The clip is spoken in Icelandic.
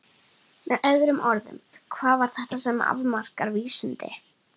Með öðrum orðum: hvað er það sem afmarkar vísindi?